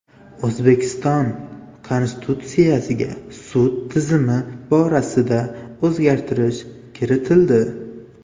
O‘zbekiston Konstitutsiyasiga sud tizimi borasida o‘zgartirish kiritildi.